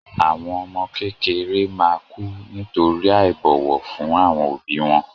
Àwọn ọmọ kékeré ma kù nítorí àìbọ̀wọ̀ fún àwọn òbí wọn